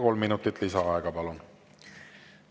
Kolm minutit lisaaega, palun!